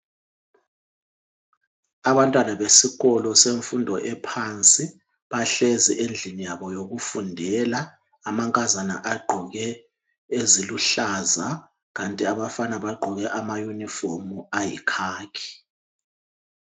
Abantwana besikolo semfundo ephansi bahlezi endlini yabo yokufundela. Amankazana agqoke eziluhlaza kanti abafana bagqoke amayunifomu ayikhakhi.